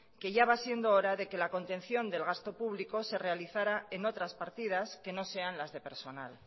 que ya va siendo hora de que la contención del gasto público se realizara en otras partidas que no sean las de personal